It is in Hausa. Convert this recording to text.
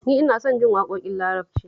Ni ina son jin waƙoƙin Larabci